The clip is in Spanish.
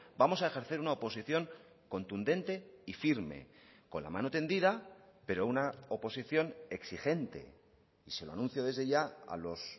vamos a ejercer una oposición contundente y firme con la mano tendida pero una oposición exigente y se lo anuncio desde ya a los